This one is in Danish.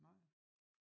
Nej